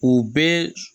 U bɛɛ